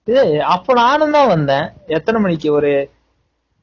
டேய் அப்போ நானும் தான் வந்தேன் எத்தன மணிக்கு ஒரு